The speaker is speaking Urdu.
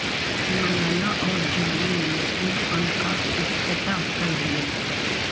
ملالہ اور جولی نے سکول فنڈ کا افتتاح کر دیا